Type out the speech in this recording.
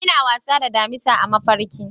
Ina wasa da damisa a mafarki.